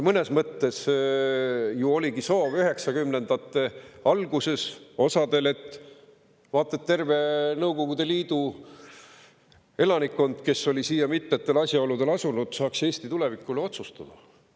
Mõnes mõttes ju oligi üheksakümnendate alguses osal soov, et vaat et terve Nõukogude Liidust pärit elanikkond, kes oli siia mitmetel asjaoludel asunud, saaks Eesti tuleviku üle otsustada.